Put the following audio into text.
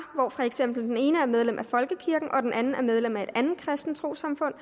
hvor for eksempel den ene er medlem af folkekirken og den anden er medlem af et andet kristent trossamfund